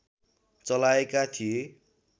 चलाएका थिए